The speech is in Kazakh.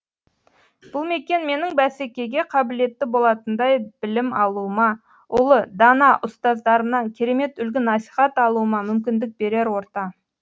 бұл мекен менің бәсекеге қабілетті болатындай білім алуыма ұлы дана ұстаздарымнан керемет үлгі насихат алуыма мүмкіндік берер орта